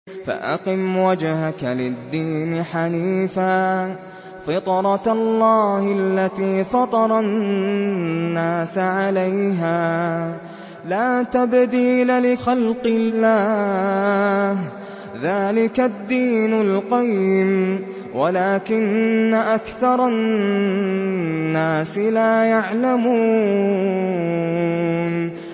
فَأَقِمْ وَجْهَكَ لِلدِّينِ حَنِيفًا ۚ فِطْرَتَ اللَّهِ الَّتِي فَطَرَ النَّاسَ عَلَيْهَا ۚ لَا تَبْدِيلَ لِخَلْقِ اللَّهِ ۚ ذَٰلِكَ الدِّينُ الْقَيِّمُ وَلَٰكِنَّ أَكْثَرَ النَّاسِ لَا يَعْلَمُونَ